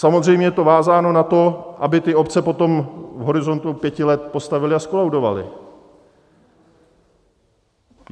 Samozřejmě je to vázáno na to, aby ty obce potom v horizontu pěti let postavily a zkolaudovaly.